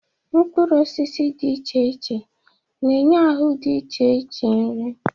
mkpụrụ osisi dị iche iche na-enye ahụ dị iche iche nri